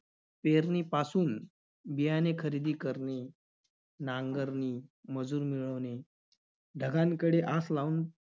पेरणीपासून बियाणे खरेदी करणे, नांगरणे, मजूर मिळवणे, ढगांकडे आस लावून